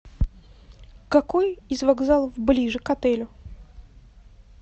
какой из вокзалов ближе к отелю